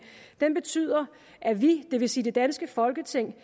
betyder at vi det vil sige det danske folketing